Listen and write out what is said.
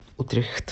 утрехт